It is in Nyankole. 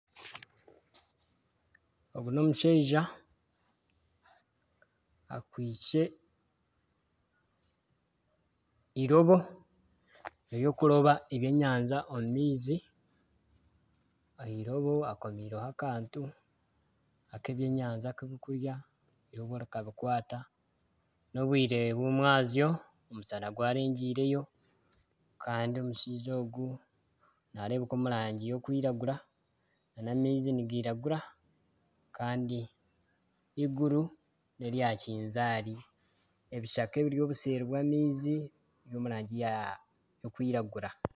Ogu n'omushaija akwaitse eirobo ery'okuroba ebyenyanja omu maizi . Ah'eirobo akomireho akantu ak'ebyenyanja birikurya eirobo rikabikwata . N'obwire bw'omwazyo omushana gwarengiireyo Kandi omushaija ogu narebuka omu rangi erikwiragura n'amaizi nigiragura Kandi eiguru nerya kinzari ebishaka ebiri obuseeri bw'amaizi biri omu rangi erikwiragura.